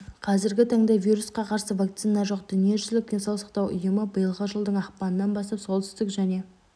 қазіргі таңда вирусқа қарсы вакцина жоқ дүниежүзілік денсаулық сақтау ұйымы биылғы жылдың ақпанынан бастап солтүстік және